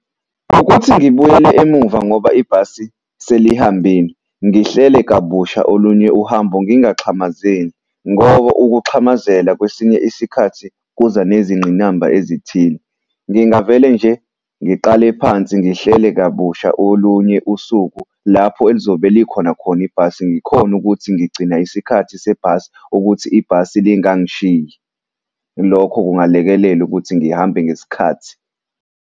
Ukuthi ngibuyele emuva ngoba ibhasi selihambile, ngihlele kabusha olunye uhambo, ngingaxhamazeli ngoba ukuxhamazela kwesinye isikhathi kuza nezingqinamba ezithile. Ngingavele nje ngiqale phansi ngihlele kabusha olunye usuku lapho elizobe likhona khona ibhasi. Ngikhone ukuthi ngigcina isikhathi sebhasi ukuthi ibhasi lingangishiyi, lokho kungalekelela ukuthi ngihambe ngesikhathi.